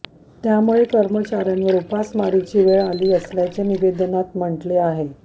त्यामुळे कर्मचार्यांवर उमासमारीची वेळ आली असल्याचे निवेदनात म्हटले आहे